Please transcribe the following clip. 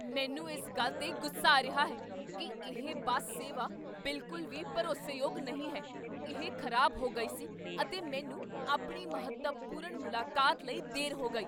ਮੈਂ ਇਸ ਗੱਲ ਤੇ ਗੁੱਸਾ ਆ ਰਿਹਾ ਹੈ ਕੀ ਇਹ ਬੱਸ ਸੇਵਾ ਬਿਲਕੁਲ ਵੀ ਭਰੋਸੇਯੋਗ ਨਹੀਂ ਹੈ। ਇਹ ਖ਼ਰਾਬ ਹੋ ਗਈ ਸੀ ਅਤੇ ਮੈਨੂੰ ਆਪਣੀ ਮਹੱਤਵਪੂਰਣ ਮੁਲਾਕਾਤ ਲਈ ਦੇਰ ਹੋ ਗਈ!